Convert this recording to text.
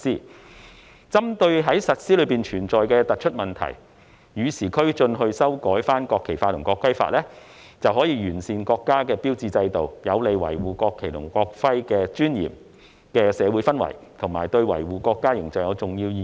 為與時俱進，針對實施中存在的突出問題修改《國旗法》及《國徽法》，能完善國家標誌制度，有利營造維護國旗及國徽尊嚴的社會氛圍，對維護國家的形象有重要意義。